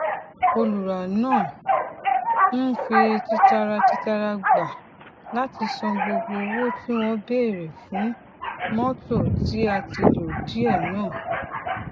olùrá náà um fi tìtaratìtara gba láti san gbogbo owó tí wọn béèrè fún mọtò tí a ti lò díẹ náà